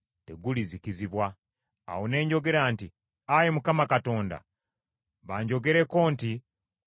Awo ne njogera nti, “Ayi Mukama Katonda, banjogerako nti, ‘Oyo tanyumya ngero bugero.’ ”